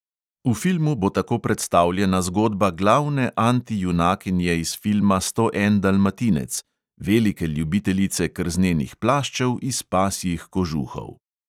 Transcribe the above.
V filmu bo tako predstavljena zgodba glavne antijunakinje iz filma sto en dalmatinec, velike ljubiteljice krznenih plaščev iz pasjih kožuhov.